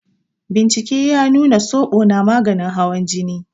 Bincke ya nuna soɓo na maganin hawan jini.